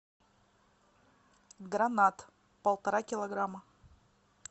гранат полтора килограмма